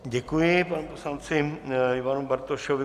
Děkuji panu poslanci Ivanu Bartošovi.